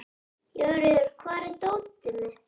Jóríður, hvar er dótið mitt?